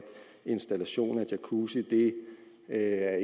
installation af jacuzzi ikke er